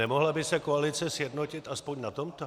Nemohla by se koalice sjednotit alespoň na tomto?